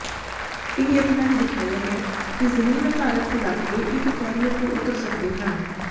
ਇਹ ਯਤਨਾਂ ਨੇ ਦਿਖਾਇਆ ਹੈ ਕਿ ਜ਼ਮੀਨ ਆਧਾਰਿਤ ਘੁਲਾਟੀਏ ਇੱਕ ਕੈਰੀਅਰ ਤੋਂ ਉਤਰ ਸਕਦੇ ਹਨ